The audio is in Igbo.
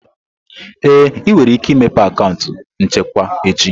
Ee, ị nwere ike imepe akaụntụ nchekwa echi.